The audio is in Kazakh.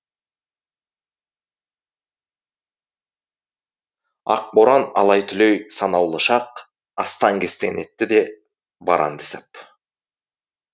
ақ боран алай түлей санаулы шақ астан кестен етті де бар әнді сап